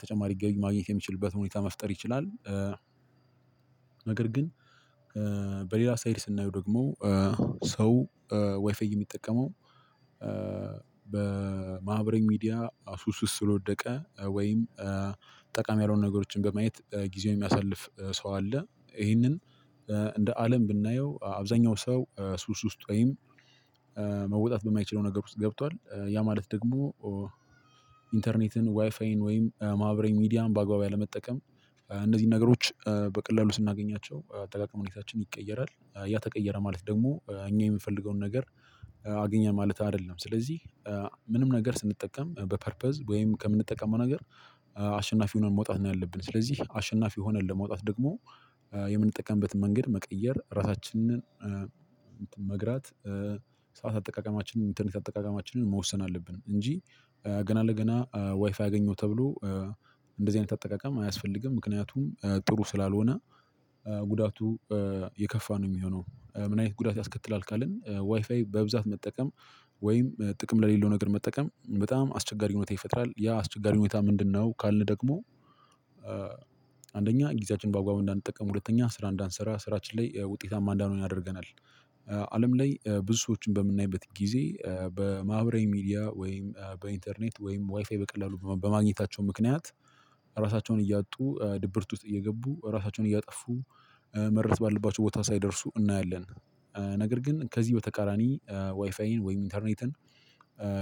ተጨማሪ ገቢ ማግኘት የሚችልበት ሁኔታ መፍጠር ይችላል። ነገር ግን በሌላ ሳይድ ስናየው ደግሞ እ ሰው ዋይፋይ የሚጠቀመው። በማህበራዊ ሚዲያ ሱስ ውስጥ ስለወደቀ ወይም ጠቃሚ ያልሆኑ ነገሮችን በማየት ጊዜው የሚያሳልፍ ሰው አለ። ይሄንን እንደ አለም ብናየው አብዛኛው ሰው ሱስ ውስጥ ወይም መውጣት በማይችለው ነገር ውስጥ ገብቷል። ያ ማለት ደግሞ ኢንተርኔትን ዋይፋይን ወይም ማህበራዊ ሚዲያን በአግባቡ ያለመጠቀም። እነዚህን ነገሮች በቀላሉ ስናገኛቸው አጠቃቀም ሁኔታችን ይቀየራል ያ ተቀየረ ማለት ደግሞ እኛ የምፈልገውን ነገር። አገኘን ማለት አይደለም። ስለዚህ ምንም ነገር ስንጠቀም በፐርፐዝ ወይም ከምንጠቀመው ነገር። አሸናፊ ሁነን መውጣት ነው ያለብን። ስለዚህ አሸናፊ ሆነን ለመውጣት ደግሞ የምንጠቀምበትን መንገድ መቀየር ራሳችንን መግራት። ሰዓት አጠቃቀማችንን ኢንተርኔት አጠቃቀማችንን መወሰን አለብን። እንጂ ገና ለገና ዋይፋይ ያገኘው ተብሎ እንደዚህ አይነት አጠቃቀም አያስፈልግም። ምክንያቱም ጥሩ ስላልሆነ። ጉዳቱ የከፋ ነው የሚሆነው። ምን አይነት ጉዳት ያስከትላል ካልን? ዋይፋይ በብዛት መጠቀም ወይም ጥቅም ለሌለው ነገር መጠቀም በጣም አስቸጋሪ ሁኔታ ይፈጥራል። ያ አስቸጋሪ ሁኔታ ምንድነው? ካልን ደግሞ አንደኛ ጊዜያችን በአግባቡ እንዳንጠቀም ሁለተኛ ስራ እንዳንሰራ ስራችን ላይ ውጤታማ እንዳንሆን ያደርገናል። አለም ላይ ብዙ ሰዎችን በምናይበት ጊዜ በማህበራዊ ሚዲያ ወይም በኢንተርኔት ወይም ዋይፋይ በቀላሉ በማግኘታቸው ምክንያት ራሳቸውን እያጡ ድብርት ውስጥ እየገቡ ራሳቸውን እያጠፉ መድረስ ባለባቸው ቦታ ሳይደርሱ እናያለን። ነገር ግን ከዚህ በተቃራኒ ዋይፋይን ወይም ኢንተርኔትን።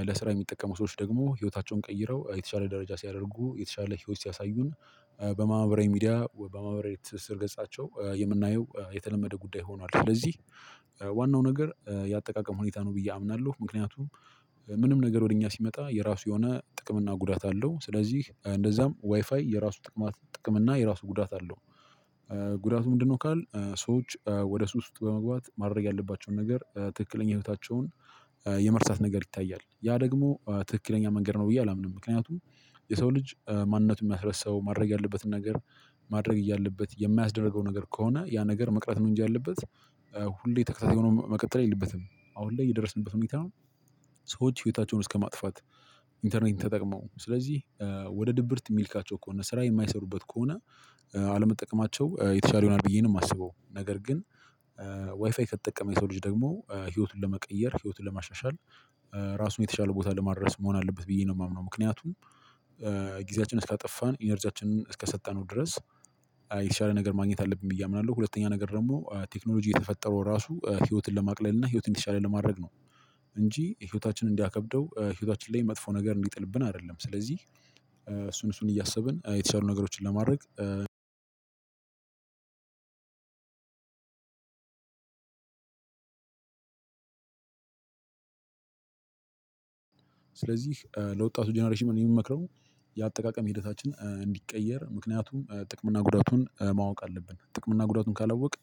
ለስራ የሚጠቀሙ ሰዎች ደግሞ ህይወታቸውን ቀይረው የተሻለ ደረጃ ሲያደርጉ የተሻለ ህይወት ሲያሳዩን። በማህበራዊ ሚዲያ በማህበራዊ ትስስር ገጻቸው የምናየው የተለመደ ጉዳይ ሆኗል። ስለዚህ ዋናው ነገር ያጠቃቀም ሁኔታ ነው ብዬ አምናለሁ። ምክንያቱም ምንም ነገር ወደ እኛ ሲመጣ የራሱ የሆነ ጥቅም እና ጉዳት አለው። ስለዚህ እንደዛም ዋይፋይ የራሱ ጥቅማት ጥቅም እና የራሱ ጉዳት አለው። ጉዳቱ ምንድነው ካልን? ሰዎች ወደ ሱስ ውስጥ በመግባት ማድረግ ያለባቸውን ነገር ትክክለኛ ህይወታቸውን የመርሳት ነገር ይታያል። ያ ደግሞ ትክክለኛ መንገድ ነው ብዬ አላምንም። ምክንያቱም የሰው ልጅ ማንነቱን የሚያስረሳው ማድረግ ያለበትን ነገር። ማድረግ እያለበት የማያስደርገው ነገር ከሆነ ያ ነገር መቅረት ነው። እንጂ ያለበት ሁሌ ተከታታይ ሆኖ መቀጠል የለበትም። አሁን ላይ እየደረስንበት ሁኔታ ነው። ሰዎች ህይወታቸውን እስከማጥፋት ኢንተርኔት ተጠቅመው ስለዚህ ወደ ድብርት የሚልካቸው ከሆነ ስራ የማይሰሩበት ከሆነ። አለመጠቀማቸው የተሻለ ይህናል ብዬ ነው የማስበው። ነገር ግን። ዋይፋይ ከተጠቀመ የሰው ልጅ ደግሞ ህይወቱን ለመቀየር ህይወቱን ለማሻሻል። ራሱን የተሻለ ቦታ ለማድረስ መሆን አለበት ብዬ ነው የማምነው። ምክንያቱም ጊዜያችን እስካጠፋን ኢነርጂያችንን እስከሰጠነው ድረስ። የተሻለ ነገር ማግኘት አለብኝ ብዬ አምናለሁ። ሁለተኛ ነገር ደግሞ ቴክኖሎጂ የተፈጠረው ራሱ ህይወትን ለማቅለል እና ህይወትን የተሻለ ለማድረግ ነው። እንጂ ህይወታችንን እንዲያከብደው ህይወታችን ላይ መጥፎ ነገር እንዲጥልብን አይደለም። ስለዚህ እሱን እሱን እያሰብን የተሻሉ ነገሮችን ለማድረግ። ስለዚህ ለወጣቱ ጀነሬሽን የምመክረው የአጠቃቀም ሂደታችን እንዲቀየር ምክንያቱም ጥቅም እና ጉዳቱን ማወቅ አለብን። ጥቅም እና ጉዳቱን ካላወቅን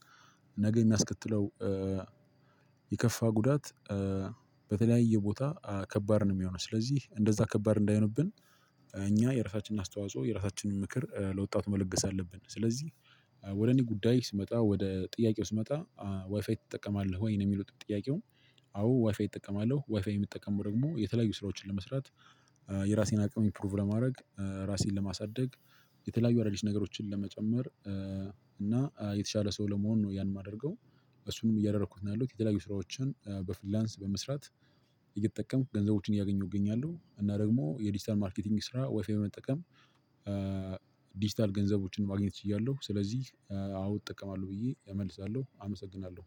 ነገ እሚያስከትለው የከፋ ጉዳት። በተለያየ ቦታ ከባድ ነው እሚሆነው ስለዚህ እንደዛ ከባድ እንዳይሆንብን። እኛ የራሳችንን አስተዋጽኦ የራሳችንን ምክር ለወጣቱ መለገስ አለብን። ስለዚህ ወደ እኔ ጉዳይ ስመጣ ወደ ጥያቄው ስመጣ ዋይፋይ ትጠቀማለህ ወይ ነው የሚለው ጥያቄው። አዎ ዋይፋይ እጠቀማለሁ። ዋይፋይ የምጠቀሙ ደግሞ የተለያዩ ስራዎችን ለመስራት። የራሴን አቅም እምፕሩቭ ለማድረግ እራሴን ለማሳደግ። የተለያዩ አዳዲስ ነገሮቺን ለመጨመር። እና የተሻለ ሰው ለመሆን ነው ያን የማደርገው። እነሱንም እያደረኩት ነው ያለሁት። የተለያዩ ስራዎችን በፍሪላንስ በመስራት። እየተጠቀምኩ ገንዘቦችን እያገኘው እገኛለሁ። እና ደሞ የዲጂታል ማርኬቲንግ ስራ ዋይፋይ በመጠቀም። ዲጂታል ገንዘቦችን ማግኘት ችያለሁ። ስለዚህ አዎ እጠቀማለሁ ብዬ እመልሳለሁ አመሰግናለሁ።